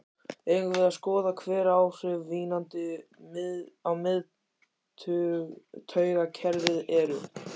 Eigum við að skoða hver áhrif vínanda á miðtaugakerfið eru?